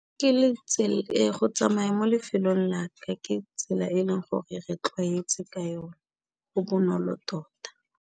Ke go tsamaya mo lefelong la ka ke tsela e leng gore re tlwaetse ka yone, go bonolo tota.